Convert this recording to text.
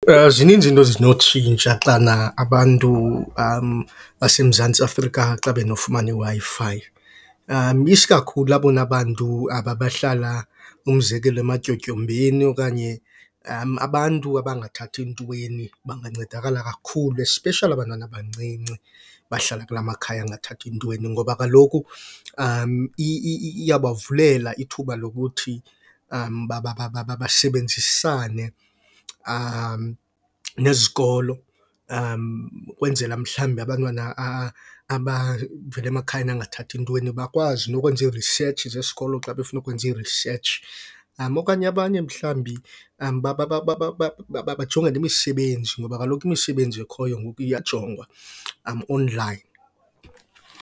Zininzi iinto ezinotshintsha xana abantu baseMantsi Afrika xa benofumana iWi-Fi. Isikakhulu abona bantu aba bahlala, umzekelo, ematyotyombeni okanye abantu abangathathi ntweni, bangancedakala kakhulu especially abantwana abancinci abahlala kulaa makhaya angathathi ntweni. Ngoba kaloku iyabavulela ithuba lokuthi basebenzisane nezikolo ukwenzela mhlambi abantwana abavela emakhayeni angathathi ntweni bakwazi nokwenza ii-research zesikolo xa befuna ukwenza ii-research. Okanye abanye mhlambi bajonge nemisebenzi ngoba kaloku imisebenzi ekhoyo ngoku iyajongwa onlayini.